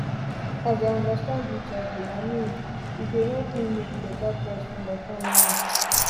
as i understand hiv i mean e dey help me make better choice for my family